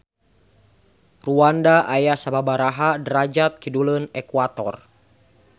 Rwanda aya sababaraha derajat kiduleun ekuator.